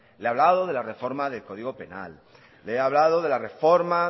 le he hablado de la reforma del código penal le he hablado de la reforma